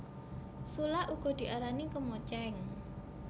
Sulak uga diarani kemocéng